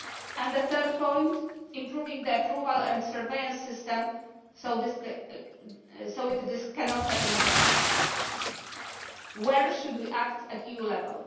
it. On the third point, improving the approval and surveillance system so this cannot happen again, where should we act at EU level?